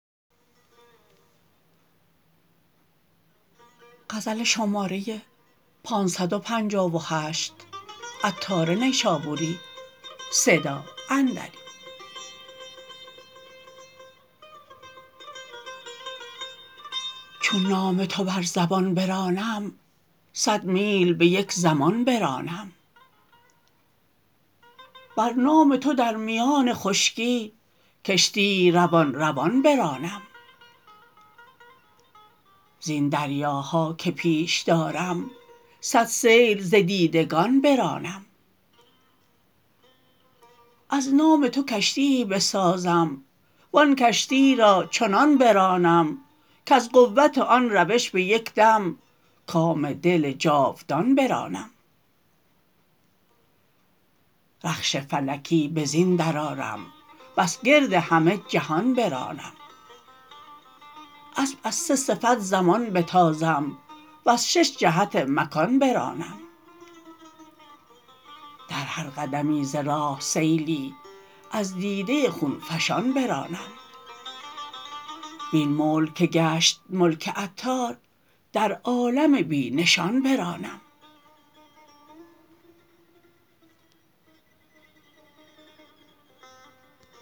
چون نام تو بر زبان برانم صد میل به یک زمان برانم بر نام تو در میان خشکی کشتی روان روان برانم زین دریاها که پیش دارم صد سیل ز دیدگان برانم از نام تو کشتیی بسازم وآن کشتی را چنان برانم کز قوت آن روش به یک دم کام دل جاودان برانم رخش فلکی به زین درآرم بس گرد همه جهان برانم اسب از سه صف زمان بتازم وز شش جهت مکان برانم در هر قدمی ز راه سیلی از دیده خونفشان برانم وین ملک که گشت ملک عطار در عالم بی نشان برانم